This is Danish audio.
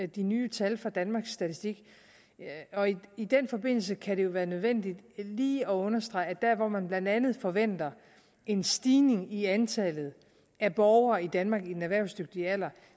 de nye tal fra danmarks statistik og i i den forbindelse kan det jo være nødvendigt lige at understrege at der hvor man blandt andet forventer en stigning i antallet af borgere i danmark i den erhvervsdygtige alder